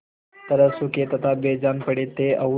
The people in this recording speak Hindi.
तरह सूखे तथा बेजान पड़े थे और